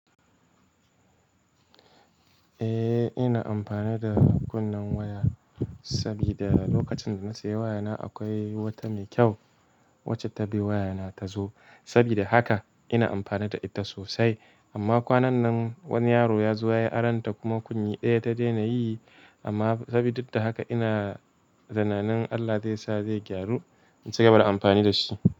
Eh, ina amfani da kunnen waya, sabida, lokacin da na sayi waya na akwai wata mai kyau. Wacce ta bi waya na ta zo. Saboda haka, ina amfani da ita sosai. Amma kwanan, wani yaro ya zo ya aronta kuma kunni ɗaya ta daina yi. Amma sabi duk da haka ina zananin Allah zai sa zai gyaru, in ci gaba da amfani da shi.